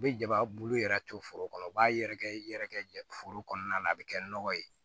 U bɛ jaba bulu yɛrɛ to foro kɔnɔ u b'a yɛrɛkɛ i yɛrɛ kɛ foro kɔnɔna na a bɛ kɛ nɔgɔ ye